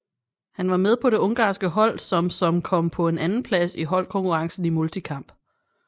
Han var med på det ungarske hold som som kom på en andenplads i holdkonkurrencen i multikamp